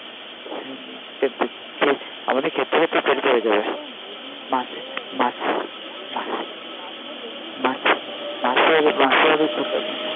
আমাদের খেতে খেতে পেট ভরে যাবে